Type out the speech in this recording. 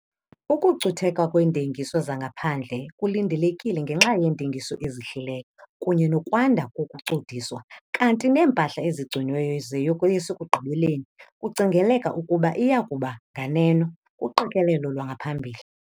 Ukucutheka kweentengiso zangaphandle kulindelekile ngenxa yeentengiso ezihlileyo kunye nokwanda kokucudiswa, kanti neempahla ezigciniweyo ziyokoyisa ekugqibeleni kucingeleka ukuba iya kuba nganeno kuqikelelo lwangaphambili.